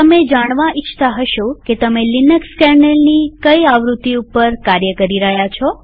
તમે જાણવા ઇચ્છતા હશો કે તમે લિનક્સ કેર્નેલની કઈ આવૃત્તિ ઉપર કાર્ય કરી રહ્યા છો